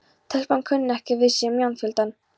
Telpan kunni ekki við sig í mannfjölda.